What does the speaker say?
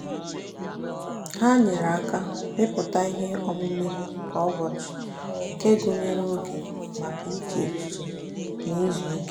ha nyere aka mepụta ihe omume kwa ụbọchị nke gụnyere oge maka iche echiche na izu ike.